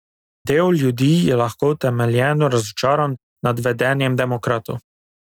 Del ljudi je lahko utemeljeno razočaran nad vedenjem demokratov.